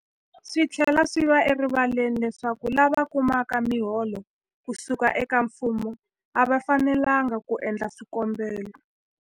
Swi tlhela swi va erivaleni leswaku lava kumaka miholo ku suka eka mfumo a va fanelanga ku endla swikombelo.